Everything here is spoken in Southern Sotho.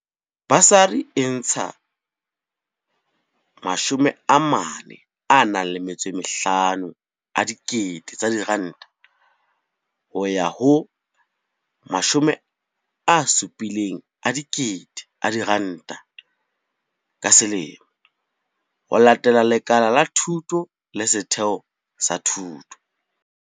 Basari e ntsha R45 000 ho ya ho R70 000 ka selemo, ho latela lekala la thuto le setheo sa thuto.